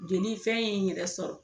Jeli fɛn ye n yɛrɛ sɔrɔ